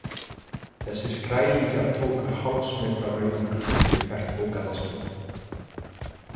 Þessir skrælingjar tóku hálfs metra rauðan klút fyrir hvert ógallað skinn.